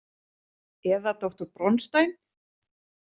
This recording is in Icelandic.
Eða doktor Bronstein?